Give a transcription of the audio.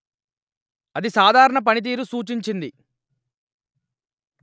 అది సాధారణ పనితీరు సూచించింది